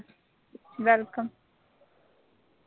welcome